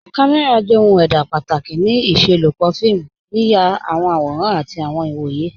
Kàmẹ́ra jẹ̀ ohun èdá pátákì ní ìṣẹ̀lọpọ́ fíìmù, yíyà àwọn àwòrán àtì àwọn ìwọ̀yẹ̀.